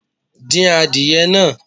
Dín adìyẹ náà